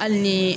Hali ni